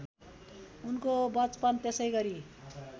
उनको वचपन त्यसैगरी